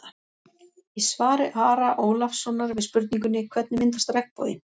Í svari Ara Ólafssonar við spurningunni: Hvernig myndast regnboginn?